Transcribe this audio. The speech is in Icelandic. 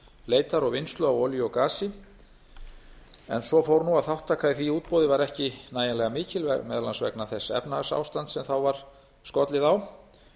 leitar og vinnslu á olíu og gasi en svo fór nú að þátttaka í því útboði var ekki nægjanlega mikil meðal annars vegna þess efnahagsástands sem þá var skollið á